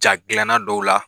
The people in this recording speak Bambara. Ja gilinna dɔw la